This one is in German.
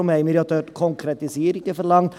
Deshalb haben wir dort Konkretisierungen verlangt.